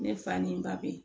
Ne fa ni ba bɛ ye